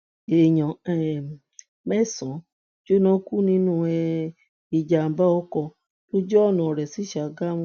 èèyàn um mẹsànán jóná kú nínú um ìjàmbá ọkọ̀ lójú ọ̀nà ọ̀rẹ̀ sí ṣàgámù